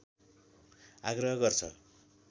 आग्रह गर्छ